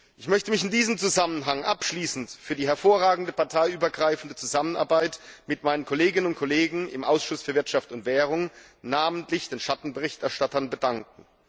Ich möchte mich in diesem Zusammenhang abschließend für die hervorragende parteiübergreifende Zusammenarbeit mit meinen Kolleginnen und Kollegen im Ausschuss für Wirtschaft und Währung, namentlich den Schattenberichterstattern, bedanken.